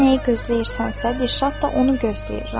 Sən nəyi gözləyirsənsə, Dirşad da onu gözləyir.